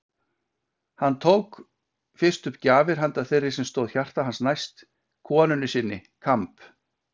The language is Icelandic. Hann tók fyrst upp gjafir handa þeirri sem stóð hjarta hans næst: konunni sinni: Kamb.